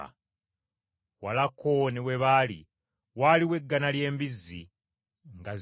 Walako ne we baali waaliwo eggana ly’embizzi nga zirya,